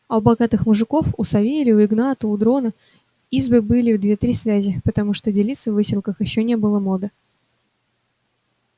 а у богатых мужиков у савелия у игната у дрона избы были в две-три связи потому что делиться в выселках ещё не было моды